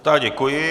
Tak děkuji.